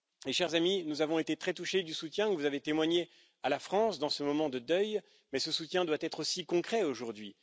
Chers amis, nous avons été très touchés du soutien que vous avez témoigné à la France dans ce moment de deuil, mais ce soutien doit aussi être concret aujourd'hui.